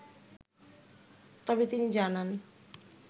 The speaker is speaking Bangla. তবে তিনি জানান